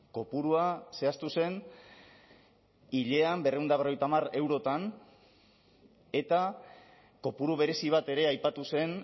kopurua zehaztu zen hilean berrehun eta berrogeita hamar eurotan eta kopuru berezi bat ere aipatu zen